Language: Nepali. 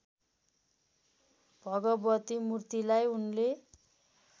भगवती मूर्तिलाई उनले